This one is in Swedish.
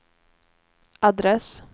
adress